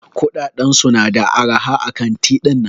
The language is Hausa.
Kudaden su na da araha a kanti dinnan.